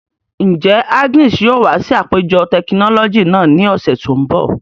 Njẹ Agnes yoo wa si apejọ tekinọlọji naa ni ọsẹ to nbọ?